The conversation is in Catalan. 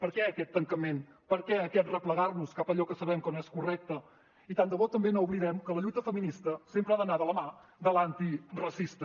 per què aquest tancament per què aquest replegar nos cap a allò que sabem que no és correcte i tant de bo també no oblidem que la lluita feminista sempre ha d’anar de la mà de l’antiracista